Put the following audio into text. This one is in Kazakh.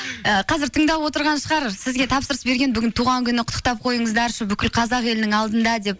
і қазір тыңдап отырған шығар сізге тапсырыс берген бүгін туған күні құттықтап қойыңыздаршы бүкіл қазақ елінің алдында деп